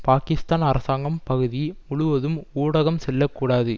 பாக்கிஸ்தான் அரசாங்கம் பகுதி முழுவதும் ஊடகம் செல்ல கூடாது